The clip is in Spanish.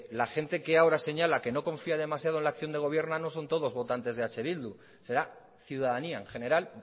la gente que ahora señala que no confía demasiado en la acción de gobierno no son todos votantes de eh bildu será ciudadanía en general